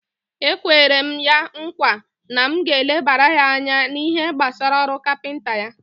Ekwere m ya nkwa na m ga-elebara ya anya n'ihe gbasara ọrụ kapinta ya.